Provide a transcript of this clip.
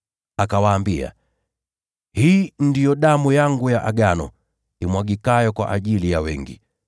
Akawaambia, “Hii ndiyo damu yangu ya agano, imwagikayo kwa ajili ya wengi.